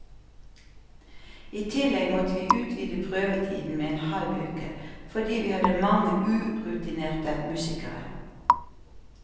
I tillegg måtte vi utvide prøvetiden med en halv uke, fordi vi hadde mange urutinerte musikere.